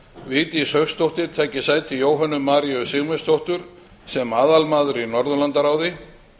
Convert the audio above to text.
vigdís hauksdóttir taki sæti jóhönnu maríu sigmundsdóttur sem aðalmaður í norðurlandaráði